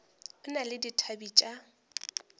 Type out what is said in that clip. o na le dithabe tša